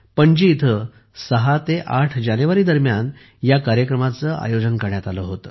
पणजी येथे ६ ते ८ जानेवारी दरम्यान या कार्यक्रमाचे आयोजन करण्यात आले होते